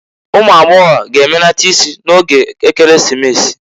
Umu agbagọ g'emenata isi n'oge Ekeresimesi.